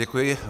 Děkuji.